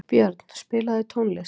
Björn, spilaðu tónlist.